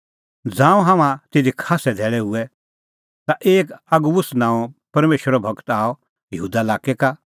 ज़ांऊं हाम्हां तिधी खास्सै धैल़ै हुऐ ता एक अगबुस नांओं परमेशरो गूर आअ यहूदा लाक्कै का